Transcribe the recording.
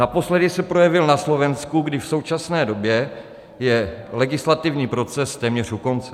Naposledy se projevil na Slovensku, kdy v současné době je legislativní proces téměř u konce.